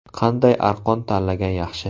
Qanday arqon tanlagan yaxshi?